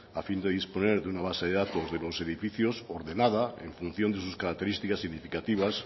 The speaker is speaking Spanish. a fin de disponer de una base de datos de los edificios ordenada en función de sus características significativas